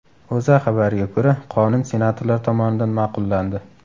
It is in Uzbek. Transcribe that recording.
O‘zA xabariga ko‘ra , qonun senatorlar tomonidan ma’qullandi.